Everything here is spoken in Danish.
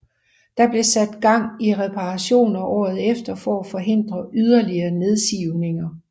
Der blev sat gang i reparationer året efter for at forhindre yderligere nedsivninger